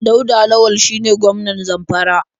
Dauda Lawal shine gwmanan Zamfara.